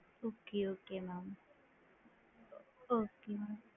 Okay okay mam okay